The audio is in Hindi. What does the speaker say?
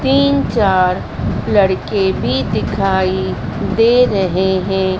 तीन चार लड़के भी दिखाई दे रहे हैं।